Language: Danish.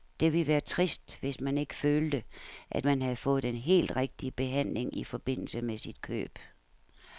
Det ville være trist, hvis man ikke følte, at man havde fået den helt rigtige behandling i forbindelse med sit køb.